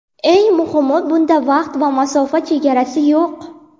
Eng muhimi bunda vaqt va masofa chegarasi yo‘q.